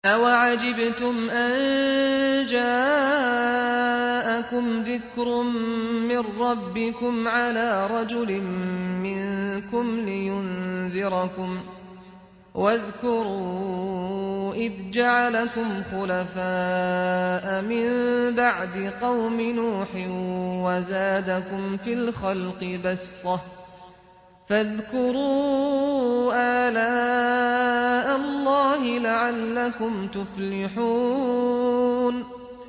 أَوَعَجِبْتُمْ أَن جَاءَكُمْ ذِكْرٌ مِّن رَّبِّكُمْ عَلَىٰ رَجُلٍ مِّنكُمْ لِيُنذِرَكُمْ ۚ وَاذْكُرُوا إِذْ جَعَلَكُمْ خُلَفَاءَ مِن بَعْدِ قَوْمِ نُوحٍ وَزَادَكُمْ فِي الْخَلْقِ بَسْطَةً ۖ فَاذْكُرُوا آلَاءَ اللَّهِ لَعَلَّكُمْ تُفْلِحُونَ